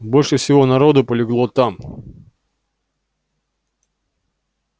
больше всего народу полегло там